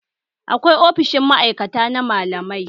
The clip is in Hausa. Akwai ofishin ma'aikata na malamai